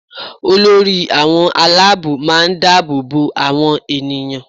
Olórí àwọn aláàbò máa ń dáàbò bo àwọn ènìyàn